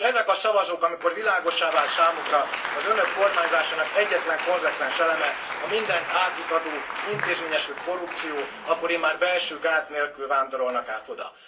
És ezek a szavazók, amikor világossá vált számukra, az Önök kormányzásának egyetlen konzekvens eleme a mindent átitató, intézményesült korrupció, akkor immár belső gát nélkül vándorolnak át oda.